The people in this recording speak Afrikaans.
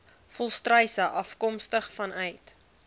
volstruise afkomstig vanuit